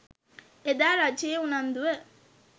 එදා රජයේ උනන්දුව